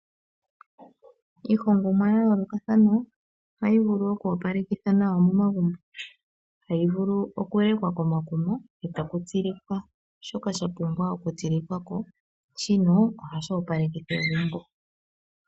Iihongomwa ya yoolokathana ohayi vulu okwoopalekitha nawa momagumbo. Hayi vulu okulekwa komakuma etaku tsilikwa shoka sha pumbwa okutsilikwa ko. Shino ohashi opalekitha egumbo.